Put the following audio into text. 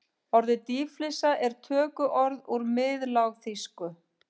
Orðið dýflissa er tökuorð úr miðlágþýsku.